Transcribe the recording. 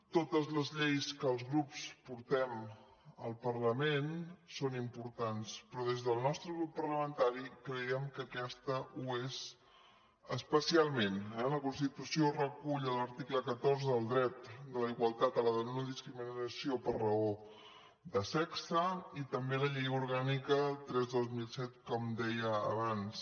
totes les lleis que els grups portem al parlament són importants però des del nostre grup parlamentari cre·iem que aquesta ho és especialment eh la constitució recull a l’article catorze el dret a la igualtat i a la no·discri·minació per raó de sexe i també la llei orgànica tres dos mil set com deia abans